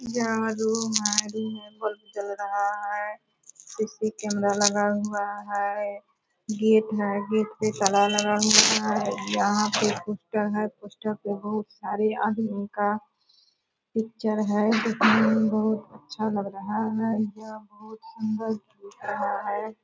यह रूम है रूम में बल्ब जल रहा है उसमें कैमरा लगा हुआ है गेट है गेट पे ताला लगा हुआ है यहाँ पे पोस्टर है पोस्टर पे बहुत सारे आदमी का पिक्चर हैं दिखने में बहुतअच्छा लग रहा है यह बहुत सुंदर दिख रहा है।